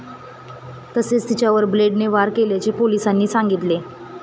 तसेच तिच्यावर ब्लेडने वार केल्याचे पोलिसांनी सांगितले.